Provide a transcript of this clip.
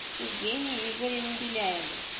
евгении игоревне беляевой